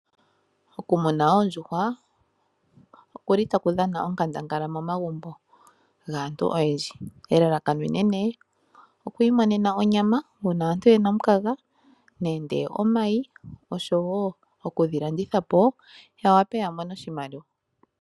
Okumuna oondjuhwa oku li li taku dhana onkandangala momagumbo gaantu oyendji. Elalakano enene okwiimonena onyama uuna aantu ye na omukaga, nenge omayi, osho wo oku dhi landitha po ya wape ya mone oshimaliwa.